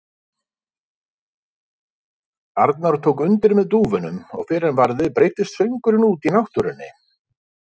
Arnar tók undir með dúfunum og fyrr en varði breiddist söngurinn út í náttúrunni.